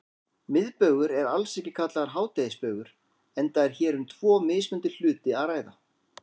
Miðbaugur er alls ekki kallaður hádegisbaugur enda er hér um tvo mismunandi hluti að ræða.